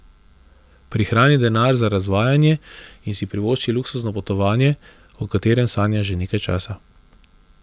Prihrani denar za razvajanje in si privošči luksuzno potovanje, o katerem sanjaš že nekaj časa.